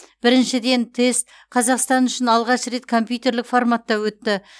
біріншіден тест қазақстан үшін алғаш рет компьютерлік форматта өтті